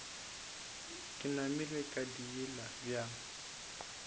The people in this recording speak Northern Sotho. ke namile ke diila bjang